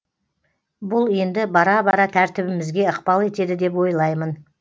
бұл енді бара бара тәртібімізге ықпал етеді деп ойлаймын